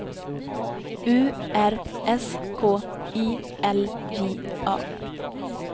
U R S K I L J A